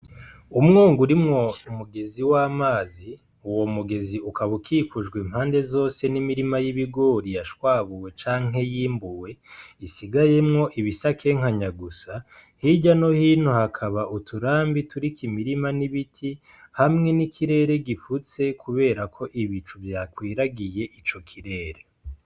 Umwonga urimwo umugezi w'amazi, uwo mugezi ukaba ukikujwe impande zose n'imirima y'ibigori yashwabuwe canke yimbuwe isigayemwo ibisakenkanya gusa, hirya no hino hakaba uturambi turiko imirima n'ibiti, hamwe n'ikirere gifutse kubera ko ibicu vyakwiragiye ico kirere.